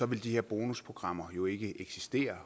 ville de her bonusprogrammer jo ikke eksistere